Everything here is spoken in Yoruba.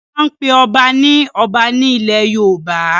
Wọ́n máa n pe ọba ní Ọba ní ilẹ̀ yoòbá